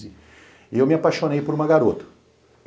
E eu me apaixonei por uma garota.